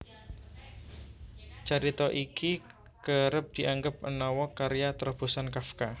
Carita iki kerep dianggep menawa karya trobosan Kafka